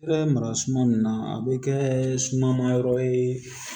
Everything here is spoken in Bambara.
I bɛ mara suma min na a bɛ kɛ suma ma yɔrɔ ye